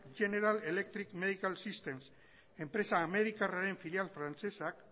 general electric medical systems enpresa amerikarraren filial frantsesak